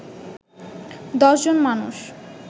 ১০ জন মানুষ